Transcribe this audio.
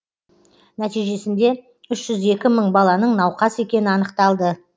нәтижесінде үш жүз екі мың баланың науқас екені анықталды